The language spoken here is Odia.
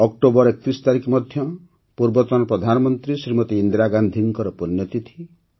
ଅକ୍ଟୋବର ୩୧ ମଧ୍ୟ ପୂର୍ବତନ ପ୍ରଧାନମନ୍ତ୍ରୀ ଶ୍ରୀମତୀ ଇନ୍ଦିରାଗାନ୍ଧିଜୀଙ୍କ ପୁଣ୍ୟତିଥି